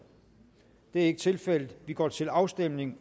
er ikke tilfældet og vi går til afstemning